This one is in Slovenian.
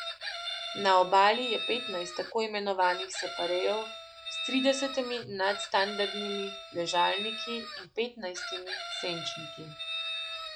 Na obali je petnajst tako imenovanih separejev s tridesetimi nadstandardnimi ležalniki in petnajstimi senčniki.